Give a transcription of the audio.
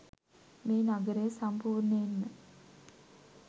මේ නගරය සම්පූර්ණයෙන්ම